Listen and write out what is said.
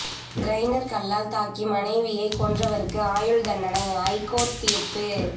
grinder கல்லால் தாக்கி மனைவியை கொன்றவருக்கு ஆயுள் தண்டனை ஐகோர்ட்டு தீர்ப்பு